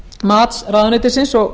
mats ráðuneytisins og